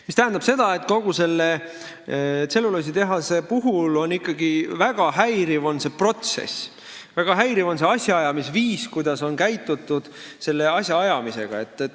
See tähendab seda, et selle tselluloositehase puhul ikkagi väga häiriv on see protsess, väga häiriv on see viis, kuidas on seda asja aetud.